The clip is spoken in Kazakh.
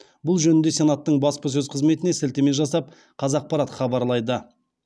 бұл жөнінде сенаттың баспасөз қызметіне сілтеме жасап қазақпарат хабарлайды